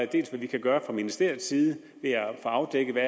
dels hvad vi kan gøre fra ministeriets side ved at få afdækket